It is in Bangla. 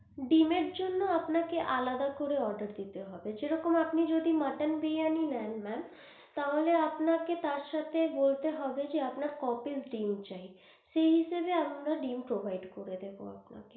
ডিমের জন্য আপনাকে আলাদা করে অর্ডার দিতে হবে, যেরকম আপনি যদি মটন বিরিয়ানি নেন maam তাহলে আপনাকে তার সাথে বলতে হবে, আপনার ক piece ডিম্ চাই সেই হিসাবে আমরা ডিম্ provide করে দেব আপনাকে।